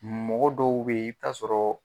Mɔgɔ dɔw bɛ i bɛ t'a sɔrɔ